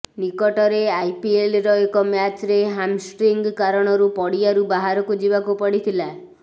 ନିକଟରେ ଆଇପିଏଲର ଏକ ମ୍ୟାଚ୍ରେ ହାମଷ୍ଟ୍ରିଙ୍ଗ କାରଣରୁ ପଡିଆରୁ ବାହାରକୁ ଯିବାକୁ ପଡିଥିଲା